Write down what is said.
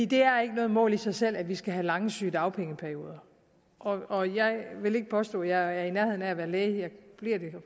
det er ikke noget mål i sig selv at vi skal have lange sygedagpengeperioder og jeg vil ikke påstå at jeg er i nærheden af at være læge